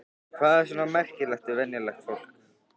En hvað er svona merkilegt við venjulegt fólk?